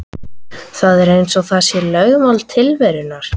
Það er eins og það sé lögmál tilverunnar.